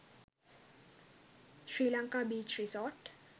sri lanka beach resort